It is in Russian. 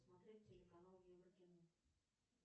смотреть телеканал еврокино